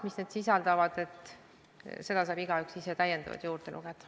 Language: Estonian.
Mida need sisaldavad, seda saab igaüks ise juurde lugeda.